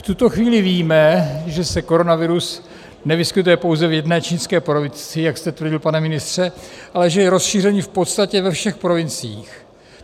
V tuto chvíli víme, že se koronavirus nevyskytuje pouze v jedné čínské provincii, jak jste tvrdil pane ministře, ale že je rozšířen v podstatě ve všech provinciích.